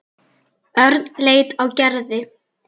Örn leit á Gerði.